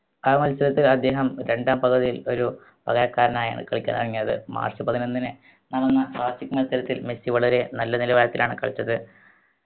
ആ മത്സരത്തിൽ അദ്ദേഹം രണ്ടാം പകുതീൽ ഒരു പകരക്കാരനായാണ് കളിയ്ക്കാൻ ഇറങ്ങിയത് മാർച്ച് പതിനൊന്നിന് നടന്ന മത്സരത്തിൽ മെസ്സി വളരെ നല്ല നിലവാരത്തിലാണ് കളിച്ചത്